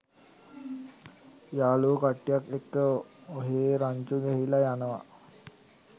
යාලූවෝ කට්ටියත් එක්ක ඔහේ රංචු ගැහිලා යනවා